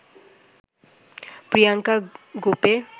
Priyanka গোপের